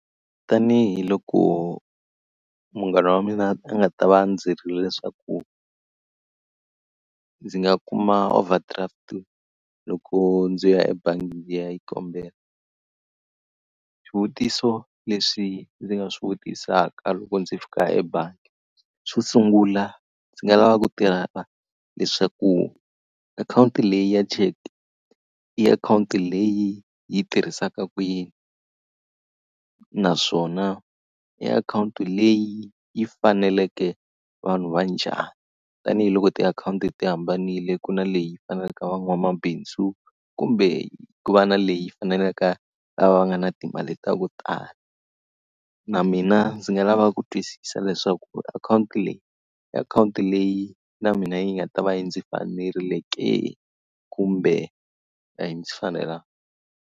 Tanihi loko munghana wa mina a nga ta va a ndzi byerile leswaku ndzi nga kuma overdraft loko ndzi ya ebangi ndzi ya yi kombela. Swivutiso leswi ndzi nga swi vutisaka loko ndzi fika ebangi, xo sungula ndzi nga lava ku tiva leswaku akhawunti leyi ya cheke i akhawunti leyi yi tirhisaka ku yini? Naswona i akhawunti leyi yi faneleke vanhu va njhani? Tanihi loko tiakhawunti ti hambanile ku na leyi faneleke van'wamabindzu kumbe ku va na leyi faneleke a va nga na timali ta ku tala. Na mina ndzi nga lava ku twisisa leswaku akhawunti leyi i akhawunti leyi na mina yi nga ta va yi ndzi fanerile ke kumbe a ndzi fanelangi.